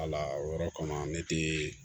Wala o yɔrɔ kɔnɔ ne tɛ